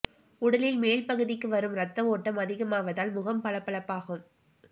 உடலில் மேல் பகுதிக்கு வரும் ரத்த ஓட்டம் அதிகமாவதால் முகம் பளபளக்கும்